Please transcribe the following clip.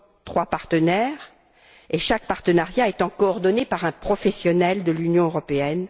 trois partenaires, chaque partenariat étant coordonné par un professionnel de l'Union européenne.